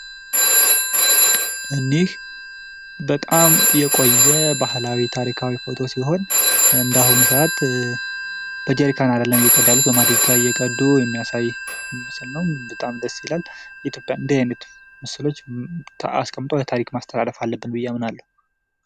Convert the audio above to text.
እኒህ በጣም የቆየ ባህላዊ ታሪካዊ ፎቶ ሲሆን እንደ አሁኑ ሰዓት በጄሪካ አደለም እየቀዱ ያሉት በማድጋ እየቀዱ የሚያሳይ ምስል ነው በጣም ደስ ይላል የኢትዮጵያ እንደዚህ አይነት ምስሎች አስቀምጠን ለታሪክ ማስተላለፍ አለብን ብየ አምናለሁ።